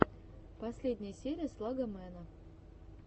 последняя серия слогомэна